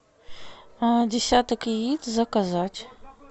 десяток яиц заказать